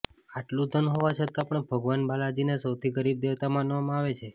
આટલું ધન હોવા છતાં પણ ભગવાન બાલાજીને સૌથી ગરીબ દેવતા માનવામાં આવે છે